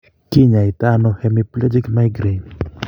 Kiny'aaytanano hemiplegic migraine?